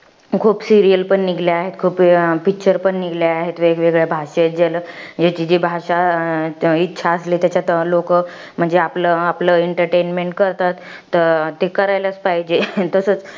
खूप serial पण निघल्या आहेत. खूप अं picture पण निघले आहेत. वेगवेगळ्या भाषेत. ज्याला ज्याची जी भाषा, इच्छा असली त्याच्यात लोकं, म्हणजे आपलं आपलं entertainment करतात. ते करायलाच पाहिजे. तसच